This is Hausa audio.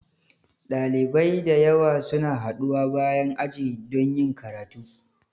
Dalibai da yawa suna haɗuwa bayan aji don yin karatu.